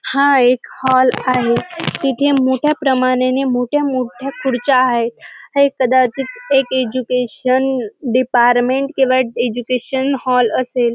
हा एक हॉल आहे तिथे मोठया प्रमाणाने मोठ्यामोठ्या खुर्च्या आहेत हे कदाचित एक एज्युकेशन डिपार्टमेंट किंवा एज्युकेशन हॉल असेल.